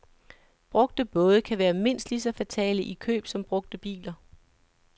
Brugte både kan være mindst lige så fatale i køb som brugte biler.